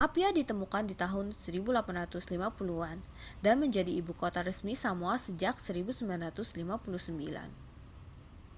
apia ditemukan di tahun 1850-an dan menjadi ibu kota resmi samoa sejak 1959